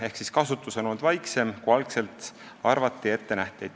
Ehk siis kasutus on olnud väiksem, kui algselt arvati ja ette nähti.